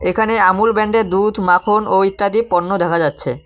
এখানে আমূল ব্যান্ডের দুধ মাখন ও ইত্যাদি পণ্য দেখা যাচ্ছে।